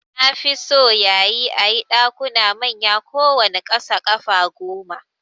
Nafi so yayi ayi Ɗakuna manya kowanne kasa ƙafa gome